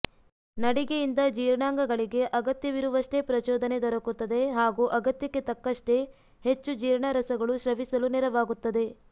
ನಡಿಗೆಯಿಂದ ಜೀರ್ಣಾಂಗಗಳಿಗೆ ಅಗತ್ಯವಿರುವಷ್ಟೇ ಪ್ರಚೋದನೆ ದೊರಕುತ್ತದೆ ಹಾಗೂ ಅಗತ್ಯಕ್ಕೆ ತಕ್ಕಷ್ಟೇ ಹೆಚ್ಚು ಜೀರ್ಣರಸಗಳು ಸ್ರವಿಸಲು ನೆರವಾಗುತ್ತದೆ